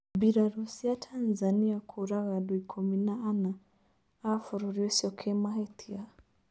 Birarũcia Tanzania kũraga andũikũmi na ana a bũrũri ũcio kĩmahĩtia.